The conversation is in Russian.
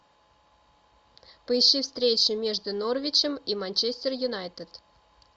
поищи встречу между норвичем и манчестер юнайтед